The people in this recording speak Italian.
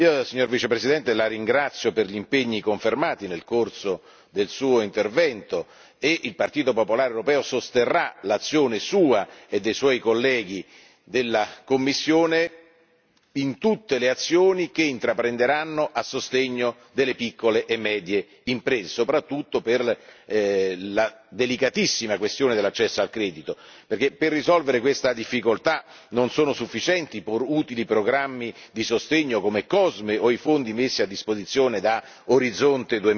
Io, signor Vicepresidente, la ringrazio per gli impegni confermati nel corso del suo intervento, e il Partito popolare europeo sosterrà l'azione sua e dei suoi colleghi della Commissione in tutte le azioni che intraprenderanno a sostegno delle piccole e medie imprese, soprattutto per la delicatissima questione dell'accesso al credito, perché per risolvere questa difficoltà non sono sufficienti i pur utili programmi di sostegno, come COSME, o i fondi messi a disposizione da Orizzonte